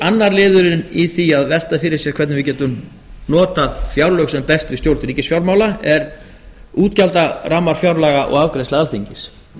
annar liðurinn í að velta fyrir sér hvernig við getum notað fjárlög sem best við stjórnun ríkisfjármála eru útgjaldarammar fjárlaga og afgreiðsla alþingis